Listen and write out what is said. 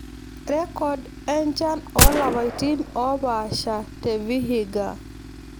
Rrekod enchan oolapaitin oopaasha te Vihiga.